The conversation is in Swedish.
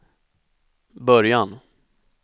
början